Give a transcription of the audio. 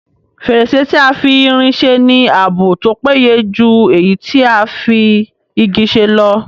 Fèrèsé tí a fi irin se ní ààbò tó péye jù èyí tí a fi Igi ṣe lọ